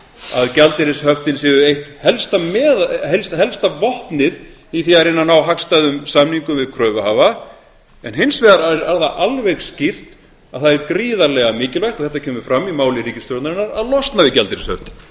að gjaldeyrishöftin séu eitt helsta vopnið í því að reyna að ná hagstæðum samningum við kröfuhafa en hins vegar er það alveg skýrt að það er gríðarlega mikilvægt og þetta kemur fram í máli ríkisstjórnarinnar að losna við gjaldeyrishöftin